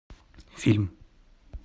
фильм